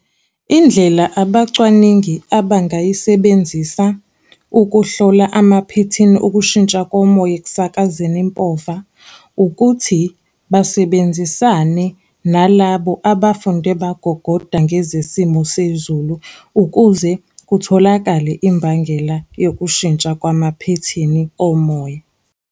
Indlela abacwaningi abangayisebenzisa ukuhlola amaphethini okushintsha komoya ekusakazekeni impova, ukuthi basebenzisane nalabo abafunde bagogoda ngezesimo sezulu, ukuze kutholakale imbangela yokushintsha kwamaphethini omoya.